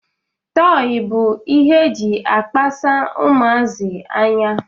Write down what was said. Tọị bụ ihe e ji akpasa ụmụazi anya